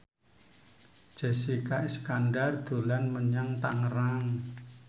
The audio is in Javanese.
Jessica Iskandar dolan menyang Tangerang